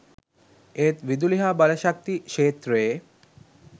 ඒත් විදුලි හා බලශක්ති ක්ෂේත්‍රයේ